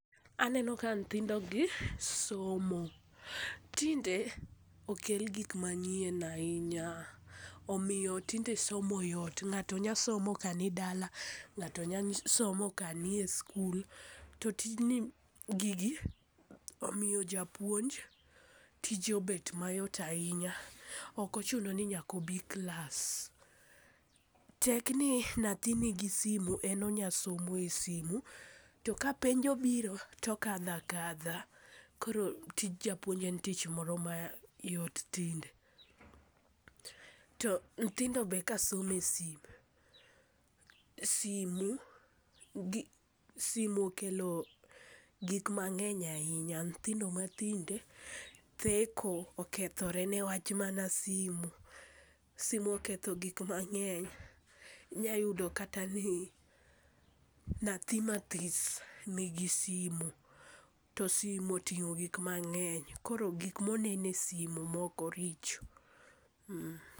Aneno ka nyithindogi somo, tinde okel gik manyien ahinya omiyo tinde somo yot, ng'ato nya somo kanidala, ng'ato nya somo kanie skul, to tijni ,gigi omiyo japuonj tije obed mayot ahinya, ok ochuno ni nyaka obi klas, tek ni nyathi nigi simu en onya somo e simu, to ka penj obiro, to okadho akadha, koro tij japuonj en tich moro mayot tinde. To nyithindo be kasomo e sim, simu okelo gik mang'eny ahinya, nyithindo matinde theko, okethore niwach mana simu. simu oketho gik mang'eny. Inyayudo kata ni nyathi mathis nigi simu, to simu oting'o gik mang'eny, koro gik monego e simo moko richo.